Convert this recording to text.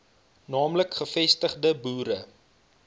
naamlik gevestigde boere